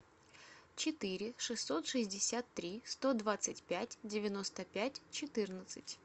четыре шестьсот шестьдесят три сто двадцать пять девяносто пять четырнадцать